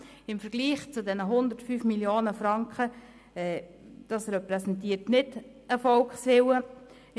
Im Vergleich zu den 105 Mio. Franken repräsentiert dieser Betrag nicht den Volkswillen.